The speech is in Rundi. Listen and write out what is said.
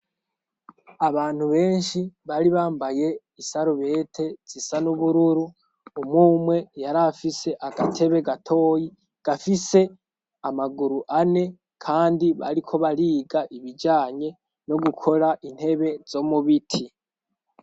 Abantu benshi bari bambaye isarubete zisa n'ubururu umumwe yariafise agatebe gatoyi gafise amaguru ane, kandi bariko bariga ibijanye no gukora intebe zo mubiti.